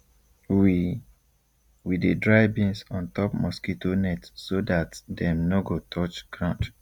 we we dey dry beans on top mosquito net so that dem nor go touch ground